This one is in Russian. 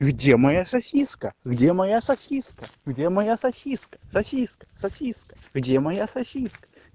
где моя сосиска где моя сосиска где моя сосиска сосиска сосиска где моя сосиска